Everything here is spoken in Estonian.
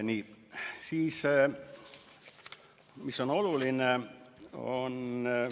Nii, mis on veel oluline?